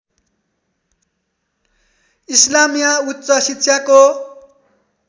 इस्लामिया उच्च शिक्षाको